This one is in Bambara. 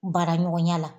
Baara ɲɔgɔnya la